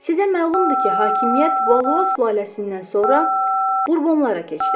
Sizə məlumdur ki, hakimiyyət Valua sülaləsindən sonra Burbonlara keçdi.